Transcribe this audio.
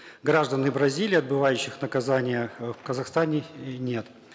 граждан бразилии отбывающих наказание э в казахстане нет